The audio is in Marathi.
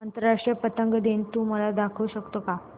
आंतरराष्ट्रीय पतंग दिन तू मला दाखवू शकतो का